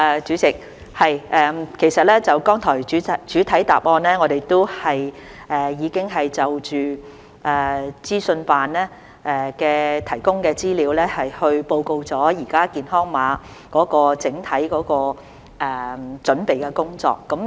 主席，其實剛才在主體答覆中，我們已就資科辦提供的資料報告了現時健康碼的整體準備工作。